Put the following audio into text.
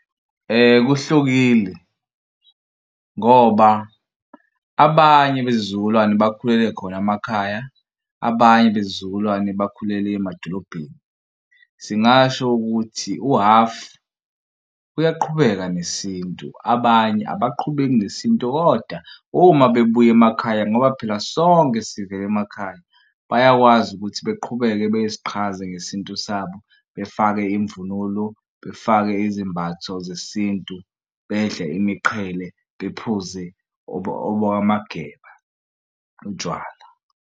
Kuhlukile ngoba abanye bezizukulwane bakhulele khona emakhaya abanye beze izizukulwane bakhulele emadolobheni. Singasho ukuthi uhafu uyaqhubeka nesintu abanye abaqhubeke nesintu kodwa uma bebuya emakhaya ngoba phela sonke sivele emakhaya bayakwazi ukuthi beqhubeke beziqhaza ngesintu sabo befake imvunulo befake izimbatho zesintu bedle imiqhele bephuze obokaMageba utshwala.